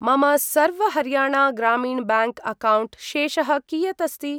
मम सर्व हर्याणा ग्रामीण ब्याङ्क् अक्कौण्ट् शेषः कियत् अस्ति?